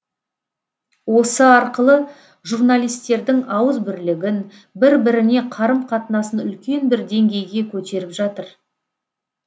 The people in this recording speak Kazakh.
осы арқылы журналистердің ауызбірлігін бір біріне қарым қатынасын үлкен бір деңгейге көтеріп жатыр